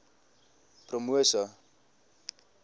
promosa